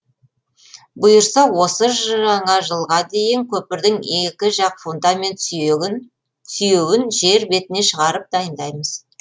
бұйырса осы жаңа жылға дейін көпірдің екі жақ фундамент сүйеуін жер бетіне шығарып дайындаймыз